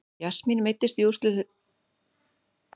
Jasmín meiddist í úrslitaleik Reykjavíkurmótsins gegn Val á dögunum.